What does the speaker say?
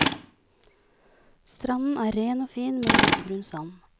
Stranden er ren og fin med lysebrun sand.